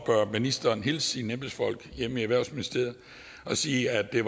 ministeren hilse sine embedsfolk hjemme i erhvervsministeriet og sige at det